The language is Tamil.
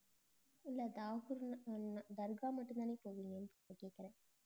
இல்ல தாகூர் தர்கா மட்டும்தானா போவிங்கனு கேக்கறே